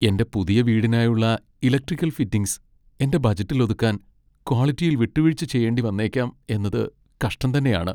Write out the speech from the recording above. എന്റെ പുതിയ വീടിനായുള്ള ഇലക്ട്രിക്കൽ ഫിറ്റിംഗ്സ് എന്റെ ബജറ്റിൽ ഒതുക്കാൻ ക്വാളിറ്റിയിൽ വിട്ടുവീഴ്ച ചെയ്യേണ്ടി വന്നേക്കാം എന്നത് കഷ്ടം തന്നെയാണ് .